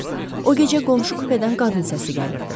O gecə qonşu kupedən qadın səsi gəlirdi.